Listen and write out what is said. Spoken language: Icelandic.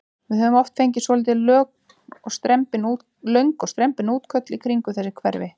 Við höfum oft fengið svolítið löng og strembin útköll í kringum þessi hverfi?